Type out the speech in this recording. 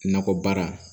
Nakɔ baara